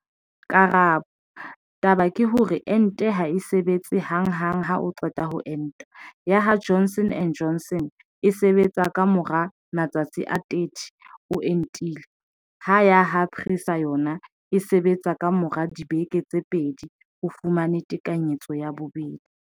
Karabo- Taba ke hore ente ha e sebetse hang hang ha o qeta ho enta, ya ha Johnson and Johnson e sebetsa ka mora matsatsi a 30 o entile, ha ya ha Pfizer yona e sebetsa ka mora dibeke tse pedi o fumane tekanyetso ya bobedi.